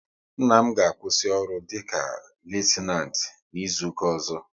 Nna m ga-akwụsị ọrụ dịka Litenant n'izuka ọzọ